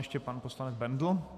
Ještě pan poslanec Bendl.